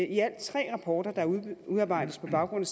i alt tre rapporter der udarbejdes på baggrund